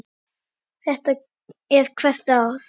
Þetta er hvert ár?